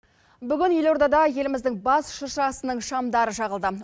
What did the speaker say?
бүгін елордада еліміздің бас шыршасының шамдары жағылды